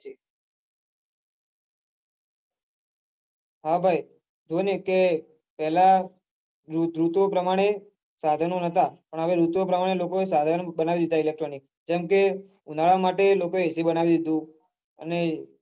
હા ભાઈજો ને કે પેલા ઋતુ પ્રમાણે સાઘનો નાતા પન હવે ઋતુ પ્રમાણે સાઘનો બનાવી દીઘા electronic જેમકે ઉનાળા માટે લોકો AC બનાવી દીઘી અને